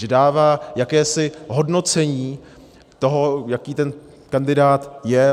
Že dává jakési hodnocení toho, jaký ten kandidát je.